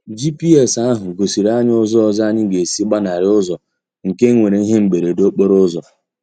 GPS ahụ gosiri anyị ụzọ ọzọ anyị ga-esi ịgbanarị ụzọ nke e nwere ihe mberede okporo ụzọ.